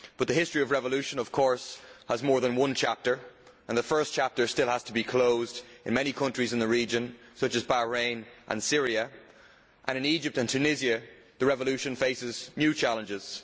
But the history of revolution has, of course, more than one chapter, and the first chapter still has to be closed in many countries of the region such as Bahrain and Syria, while in Egypt and Tunisia the revolution faces new challenges.